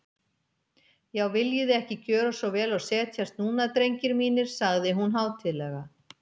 Já, viljiði ekki gjöra svo vel og setjast núna, drengir mínir, sagði hún hátíðlega.